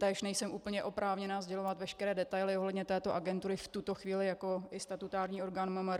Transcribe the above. Též nejsem úplně oprávněná sdělovat veškeré detaily ohledně této agentury v tuto chvíli jako i statutární orgán MMR.